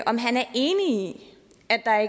om han er enig